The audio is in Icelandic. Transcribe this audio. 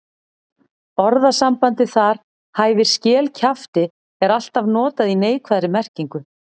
Orðasambandið þar hæfir skel kjafti er alltaf notað í neikvæðri merkingu.